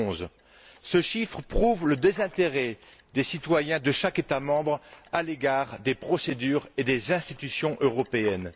2011. Ce chiffre prouve le désintérêt des citoyens de chaque État membre à l'égard des procédures et des institutions européennes.